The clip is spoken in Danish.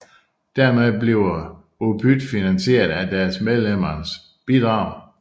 Dermed bliver UPyD finansieret af deres medlemmers bidrag